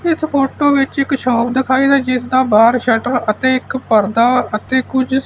ਇਸ ਫੋਟੋ ਵਿੱਚ ਇੱਕ ਸ਼ੋਪ ਦਿਖਾਈ ਹੈ ਜਿਸ ਦਾ ਬਾਹਰ ਸ਼ੱਟਰ ਅਤੇ ਇੱਕ ਪਰਦਾ ਅਤੇ ਕੁਝ--